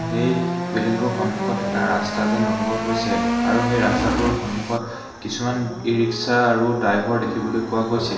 সেই বিল্ডিং টোৰ সন্মুখত এটা ৰাস্তা যেন অনুভৱ হৈছে। আৰু সেই ৰাস্তাটোৰ সন্মুখত কিছুমান ই ৰিক্সা আৰু ডাইভৰ দেখিবলৈ পোৱা গৈছে।